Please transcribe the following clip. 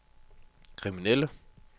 kriminelle